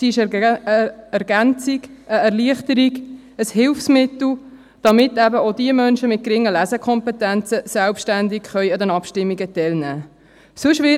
sie ist eine Ergänzung, eine Erleichterung, ein Hilfsmittel, damit eben auch Menschen mit geringen Lesekompetenzen selbstständig an den Abstimmungen teilnehmen können.